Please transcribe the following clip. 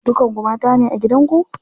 Dukan ku mata ne a gidan ku?